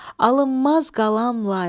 Alınmaz qalam layla.